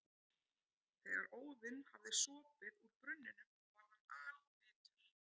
Þegar Óðinn hafði sopið úr brunninum varð hann alvitur.